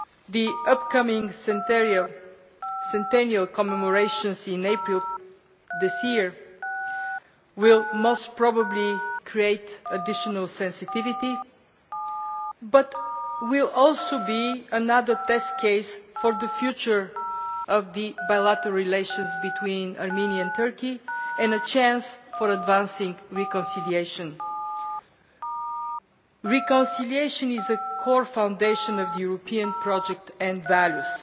The upcoming centennial commemorations in April this year will most probably create additional sensitivity but will also be another test case for the future of bilateral relations between Armenia and Turkey and a chance for advancing reconciliation. Reconciliation is a core foundation of the European project and values.